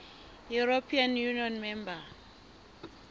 european union member